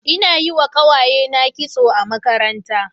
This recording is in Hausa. Ina yi wa kawayena kitso a makaranta.